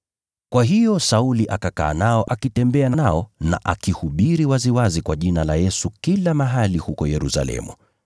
Kwa hiyo Sauli akakaa nao akitembea kwa uhuru kila mahali huko Yerusalemu, akihubiri kwa ujasiri katika jina la Bwana.